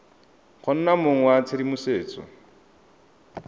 go nna mong wa tshedimosetso